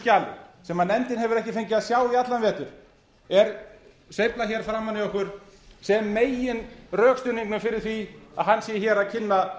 skjali sem nefndin hefur ekki fengið að sjá í allan vetur er sveiflað hér framan í okkur sem meginrökstuðningnum fyrir því að hann sé hér að kynna